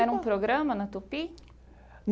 Era um programa na Tupi?